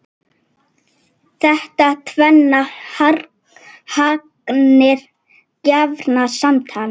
Þetta tvennt hangir gjarnan saman.